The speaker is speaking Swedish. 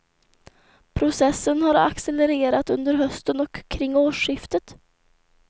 Processen har accelererat under hösten och kring årsskiftet.